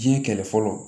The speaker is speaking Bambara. Diɲɛ kɛlɛ fɔlɔ